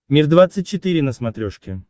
мир двадцать четыре на смотрешке